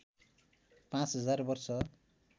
पाँच हजार वर्ष